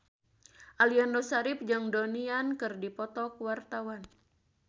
Aliando Syarif jeung Donnie Yan keur dipoto ku wartawan